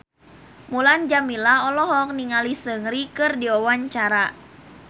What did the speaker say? Mulan Jameela olohok ningali Seungri keur diwawancara